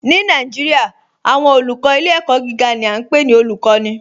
Ni Naijiria, awọn olùkọ ilẹ̀-ẹ̀kọ̀ giga ni a npe ni olùkọni